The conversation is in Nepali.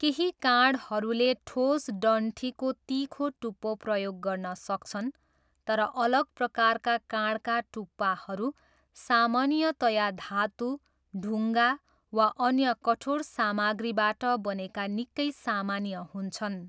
केही काँडहरूले ठोस डन्ठीको तिखो टुप्पो प्रयोग गर्न सक्छन्, तर अलग प्रकारका काँडका टुप्पाहरू सामान्यतया धातु, ढुङ्गा वा अन्य कठोर सामग्रीबाट बनेका निकै सामान्य हुन्छन्।